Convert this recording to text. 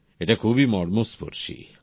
এটা খুবই মর্মস্পর্শী